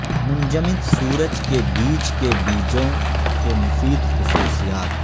منجمد سورج کے بیج کے بیجوں کے مفید خصوصیات